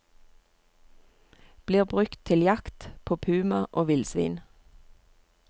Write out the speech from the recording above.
Blir brukt til jakt på puma og villsvin.